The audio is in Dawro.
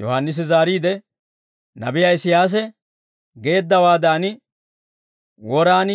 Yohaannisi zaariide, «Nabiyaa Isiyaasi geeddawaadan, woraan